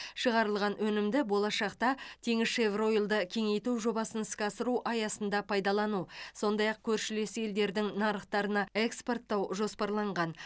шығарылған өнімді болашақта теңізшевроил ды кеңейту жобасын іске асыру аясында пайдалану сондай ақ көршілес елдердің нарықтарына экспорттау жоспарланған